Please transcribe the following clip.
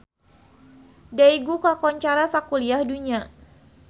Daegu kakoncara sakuliah dunya